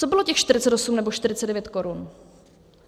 Co bylo těch 48 nebo 49 korun?